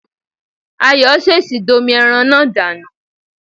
Ayọ̀ ṣèṣì domi ẹran náà dànù